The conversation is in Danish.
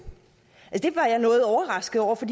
det var jeg noget overrasket over for